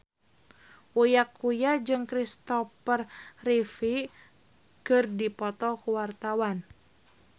Uya Kuya jeung Christopher Reeve keur dipoto ku wartawan